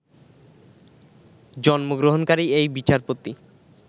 জন্মগ্রহণকারী এই বিচারপতি